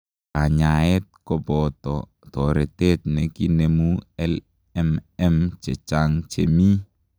Kanyaet kopotoo toretet nekinemuu LMM chechang chemii .